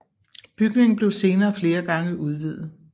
Bygningen blev senere flere gange udvidet